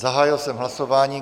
Zahájil jsem hlasování.